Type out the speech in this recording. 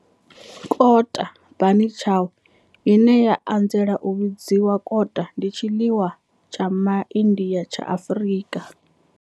Kota, bunny chow, ine ya anzela u vhidzwa kota, ndi tshiḽiwa tsha MA India tsha Afrika.